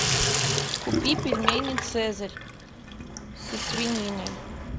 купи пельмени цезарь со свининой